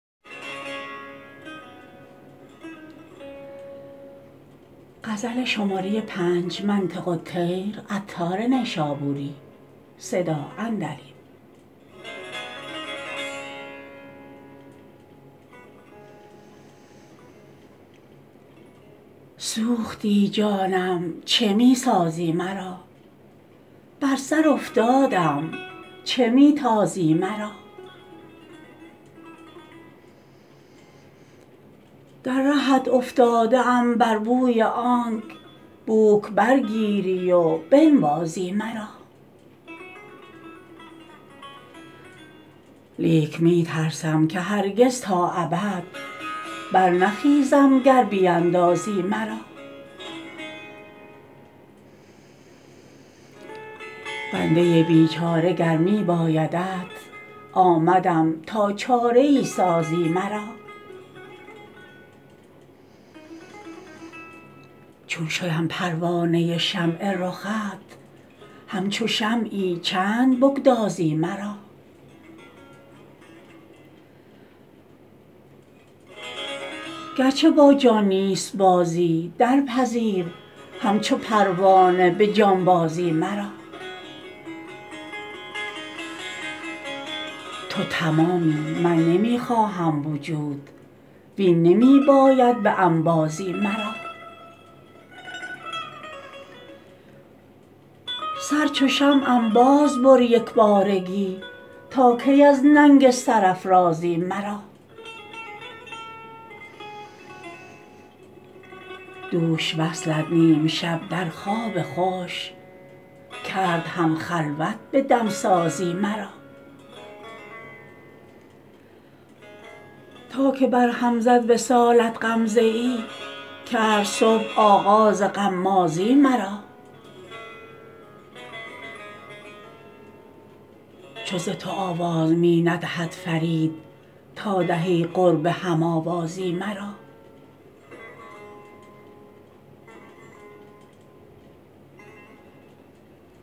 سوختی جانم چه می سازی مرا بر سر افتادم چه می تازی مرا در رهت افتاده ام بر بوی آنک بوک بر گیری و بنوازی مرا لیک می ترسم که هرگز تا ابد بر نخیزم گر بیندازی مرا بنده بیچاره گر می بایدت آمدم تا چاره ای سازی مرا چون شدم پروانه شمع رخت همچو شمعی چند بگدازی مرا گرچه با جان نیست بازی درپذیر همچو پروانه به جانبازی مرا تو تمامی من نمی خواهم وجود وین نمی باید به انبازی مرا سر چو شمعم بازبر یکبارگی تا کی از ننگ سرافرازی مرا دوش وصلت نیم شب در خواب خوش کرد هم خلوت به دمسازی مرا تا که بر هم زد وصالت غمزه ای کرد صبح آغاز غمازی مرا چو ز تو آواز می ندهد فرید تا دهی قرب هم آوازی مرا